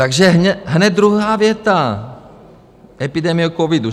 Takže hned druhá věta, epidemie covidu.